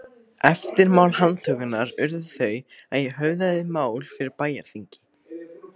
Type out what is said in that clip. Eftirmál handtökunnar urðu þau að ég höfðaði mál fyrir bæjarþingi